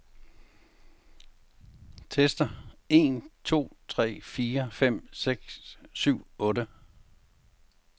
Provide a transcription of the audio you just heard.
Tester en to tre fire fem seks syv otte.